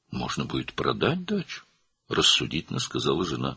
"Bağ evini satmaq mümkün olacaq?" - həyat yoldaşı ağlabatan şəkildə dedi.